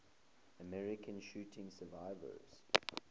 american shooting survivors